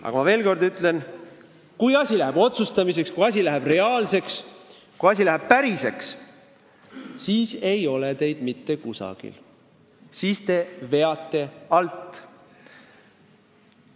Aga ma veel kord ütlen: kui asi läheb otsustamiseks, kui asi läheb reaalseks, kui asi hakkab olema päris, siis ei ole teid mitte kusagil, siis te veate alt.